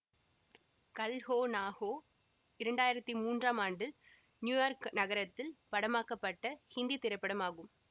கல் ஹோ நா ஹோ இரண்டாயிரத்தி மூன்றாம் ஆண்டில் நியூயார்க் நகரத்தில் படமாக்கப்பட்ட ஹிந்தித் திரைப்படம் ஆகும்